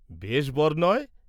বেশ বর নয়?